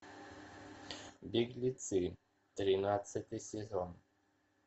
беглецы тринадцатый сезон